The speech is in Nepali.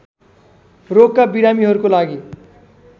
रोगका बिरामीहरूको लागि